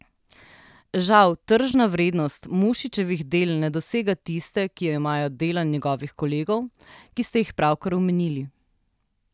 Žal tržna vrednost Mušičevih del ne dosega tiste, ki jo imajo dela njegovih kolegov, ki ste jih pravkar omenili.